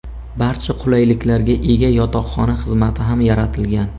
Barcha qulayliklarga ega yotoqxona xizmati ham yaratilgan.